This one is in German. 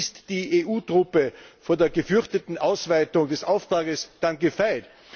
Ist die EU Truppe vor der gefürchteten Ausweitung des Auftrags dann gefeit?